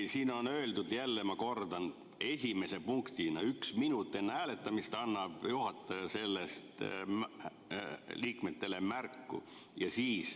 Siin on öeldud, ma kordan, esimese punktina, et üks minut enne hääletamist annab juhataja sellest liikmetele märku.